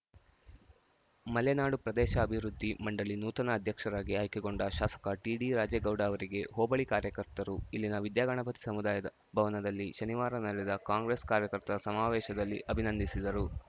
ಮಲೆನಾಡು ಪ್ರದೇಶಾಭಿವೃದ್ಧಿ ಮಂಡಳಿ ನೂತನ ಅಧ್ಯಕ್ಷರಾಗಿ ಆಯ್ಕೆಗೊಂಡ ಶಾಸಕ ಟಿಡಿ ರಾಜೇಗೌಡ ಅವರಿಗೆ ಹೋಬಳಿ ಕಾರ್ಯಕರ್ತರು ಇಲ್ಲಿನ ವಿದ್ಯಾಗಣಪತಿ ಸಮುದಾಯ ಭವನದಲ್ಲಿ ಶನಿವಾರ ನಡೆದ ಕಾಂಗ್ರೆಸ್‌ ಕಾರ್ಯಕರ್ತರ ಸಮಾವೇಶದಲ್ಲಿ ಅಭಿನಂದಿಸಿದರು